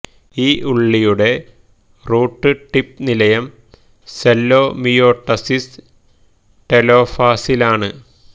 ഈ ഉള്ളിയുടെ root tip നിലയം സെല്ലോ മിയോട്ടസിസ് ടെലോഫാസിലാണ്